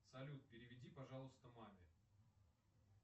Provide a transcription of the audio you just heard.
салют переведи пожалуйста маме